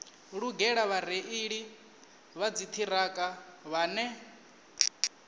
lugela vhareili vha dziṱhirakha vhane